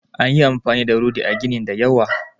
An yi amfani da rodi a ginin da yawa